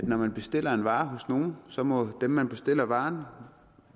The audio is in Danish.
når man bestiller en vare hos nogen så må dem man bestiller varen